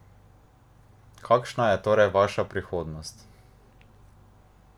Kakšna je torej vaša prihodnost?